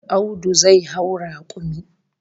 Audu zai hau rakumi